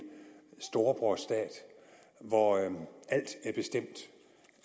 storebrorstat hvor alt